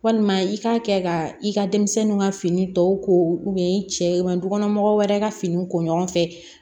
Walima i k'a kɛ ka i ka denmisɛnninw ka fini tɔw ko i cɛ ma dukɔnɔ mɔgɔ wɛrɛ ka finiw ko ɲɔgɔn fɛ